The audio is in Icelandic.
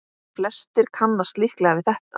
Flestir kannast líklega við þetta.